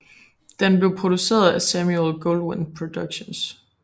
Den blev produceret af Samuel Goldwyn Productions